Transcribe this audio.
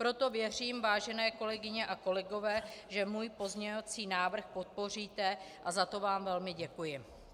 Proto věřím, vážené kolegyně a kolegové, že můj pozměňovací návrh podpoříte, a za to vám velmi děkuji.